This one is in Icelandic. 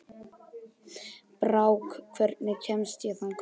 Brák, hvernig kemst ég þangað?